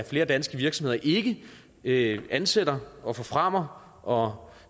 flere danske virksomheder ikke ansætter og forfremmer og